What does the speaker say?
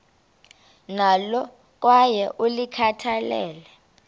nalo kwaye ulikhathalele